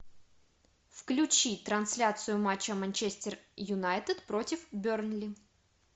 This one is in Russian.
включи трансляцию матча манчестер юнайтед против бернли